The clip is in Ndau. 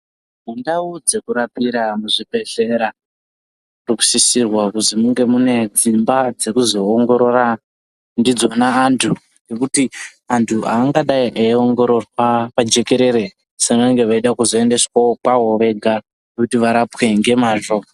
Mundau dzekurapira muzvibhedhlera munosisirwa kuti munge mune dzimba dzekuzoongorora ndidzona antu ngekuti antu aangadi eiongororwa pajekerere asi vanenge veida kuzoendeswe kwavo vega kuti varapwe ngemazvo.